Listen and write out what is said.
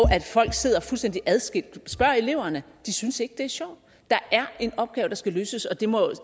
folk sidder fuldstændig adskilt spørge eleverne de synes ikke det er sjovt der er en opgave der skal løses og det må